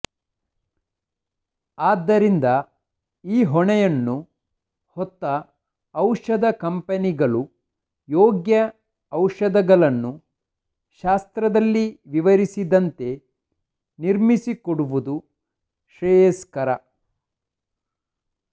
ಆದ್ದರಿಂದ ಈ ಹೊಣೆಯನ್ನು ಹೊತ್ತ ಔಷಧ ಕಂಪನಿಗಳು ಯೋಗ್ಯ ಔಷಧಗಳನ್ನು ಶಾಸ್ತ್ರದಲ್ಲಿ ವಿವರಿಸಿದಂತೆ ನಿರ್ಮಿಸಿ ಕೊಡುವುದು ಶ್ರೇಯಸ್ಕರ